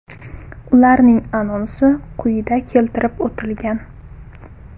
Ularning anonsi quyida keltirib o‘tilgan.